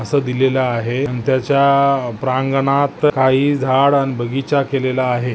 असं दिलेलं आहे आणि त्याच्या प्रांगणात काही झाड न बगीचा केलेला आहे.